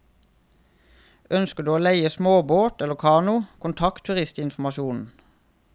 Ønsker du å leie småbåter eller kano, kontakt turistinformasjonen.